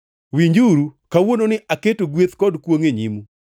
Winjuru, kawuononi aketo gweth kod kwongʼ e nyimu.